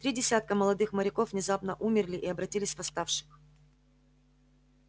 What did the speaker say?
три десятка молодых моряков внезапно умерли и обратились в восставших